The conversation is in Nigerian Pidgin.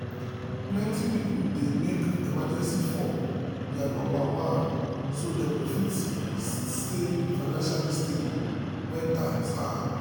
plenty people dey make emergency fund their number one so dem go fit stay financially stable when times hard.